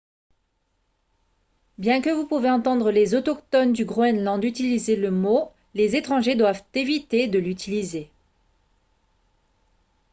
bien que vous pouvez entendre les autochtones du groenland utiliser le mot les étrangers doivent éviter de l'utiliser